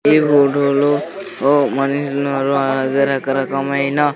ఈ రోడ్డులో ఓ మనిషి ఉన్నారు ఆ అది రకరకమైన.